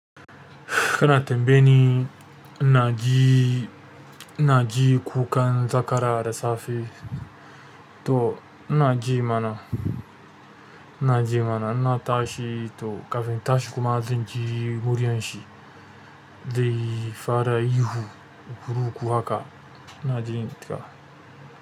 Kana tambayeni, inna ji inaji inajin kukan zakara da safe to in na ji mana, ina ji mana in na tashi to kafin in tashi kuma zan ji muryan shi dai fara ihu, kuruku haka ina jin ta.